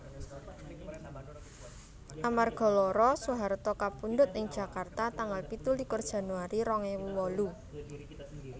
Amarga lara Soeharto kapundhut ing Jakarta tanggal pitulikur Januari rong ewu wolu